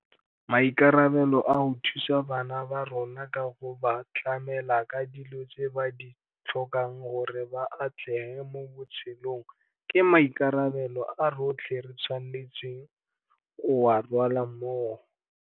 Maikarabelo a go thusa bana ba rona ka go ba tlamela ka dilo tse ba di tlhokang gore ba atlege mo botshelong ke maikarabelo a rotlhe re tshwanetseng go a rwala mmogo.